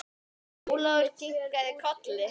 Ólafur kinkaði kolli.